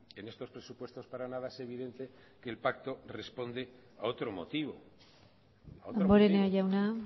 en estos presupuestos para nada es evidente que el pacto responde a otro motivo damborenea jauna